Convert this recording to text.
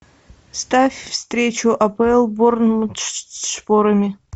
ставь встречу апл борнмут со шпорами